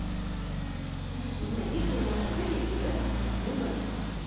алиса узнай есть ли у нас в отеле или рядом обмен валюты